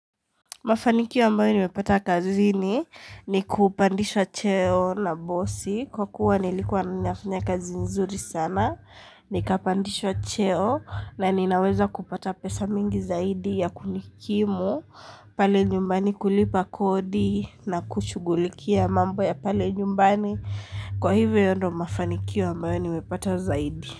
Mafanikio ambayo nimepata kazini ni kupandishwa cheo na bosi kwa kuwa nilikuwa nafanya kazi nzuri sana ni kapandishwa cheo na ninaweza kupata pesa mingi zaidi ya kunikimu pale nyumbani kulipa kodi na kushugulikia mambo ya pale nyumbani kwa hivyo hio ndo mafanikio ambayo nimepata zaidi.